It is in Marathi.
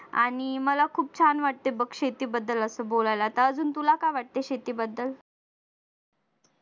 आणि मला खूप छान वाटते बघ असे शेती बद्दल बोलायला तर अजून तुला काय वाटतंय शेतीबद्दल?